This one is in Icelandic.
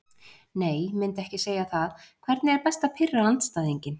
Nei myndi ekki segja það Hvernig er best að pirra andstæðinginn?